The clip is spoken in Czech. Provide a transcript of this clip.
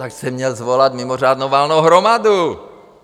Tak jste měl svolat mimořádnou valnou hromadu!